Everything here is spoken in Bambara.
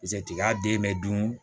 tiga den bɛ dun